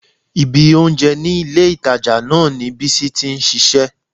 Ibi oúnjẹ ní ilé-ìtàjà náà ni Bísí ti ń ṣiṣẹ́